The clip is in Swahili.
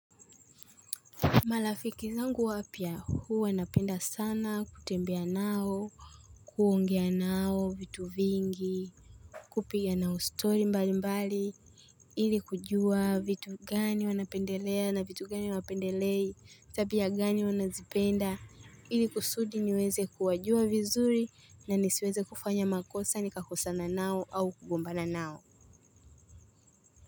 Marafiki zangu wapya huwa napenda sana kutembea nao, kuongea nao vitu vingi, kupiga nao story mbali mbali, ili kujua vitu gani wanapendelea na vitu gani wanapendelei, tabia gani wanazipenda, ili kusudi niweze kuwajua vizuri na nisiweze kufanya makosa ni kakosana nao au kugombana nao.